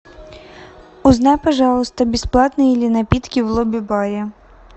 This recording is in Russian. узнай пожалуйста бесплатные ли напитки в лобби баре